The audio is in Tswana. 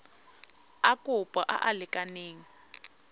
a kopo a a lekaneng